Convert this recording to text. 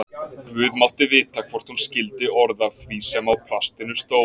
Guð mátti vita hvort hún skildi orð af því sem á plastinu stóð.